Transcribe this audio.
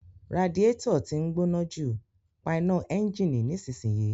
Radiator tí ń gbóná jù, pa iná ẹ́ńjìnì nísinsìnyí